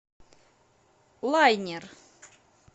лайнер